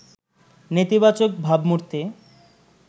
নেতিবাচক ভাবমূর্তি